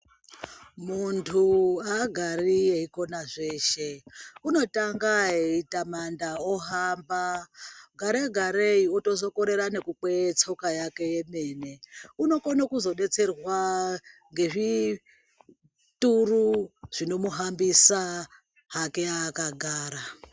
Muntu haagari eikona zveshe. Unotanga eitamanda, ohamba gare-garei otozokorera nekukwee tsoka yake yemene. Unokone kuzodetserwa ngezvituru zvinomuhambisa hake akagara.